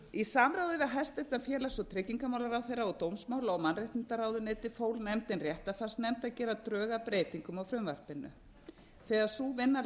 samráði við hæstvirtur félags og tryggingamálaráðherra og dómsmála og mannréttindaráðuneytið fól nefndin réttarfarsnefnd að gera drög að breytingum á frumvarpinu þegar sú vinna